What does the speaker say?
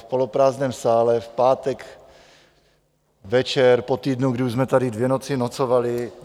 V poloprázdném sále, v pátek večer, po týdnu, kdy už jsme tady dvě noci nocovali.